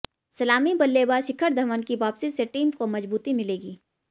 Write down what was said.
सलामी बल्लेबाज शिखर धवन की वापसी से टीम को मजबूती मिलेगी